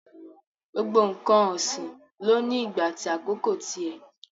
Gbogbo n̄ǹkan ọ̀sìn ló ní ìgbà àti àkókò ti ẹ̀.